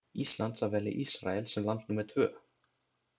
Íslands að velja Ísrael sem land númer tvö.